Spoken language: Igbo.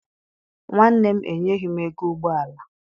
Nwanne m enyeghi m ego ụgbọala.